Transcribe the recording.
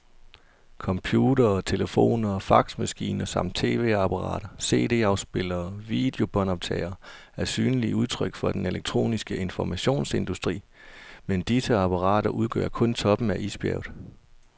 Computere, telefoner og faxmaskiner samt tv-apparater, cd-spillere og videobåndoptagere er synlige udtryk for den elektroniske informationsindustri, men disse apparater udgør kun toppen af isbjerget.